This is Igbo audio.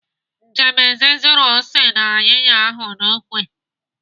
Njemanze suru ose na ayịya ahụ n'ikwe.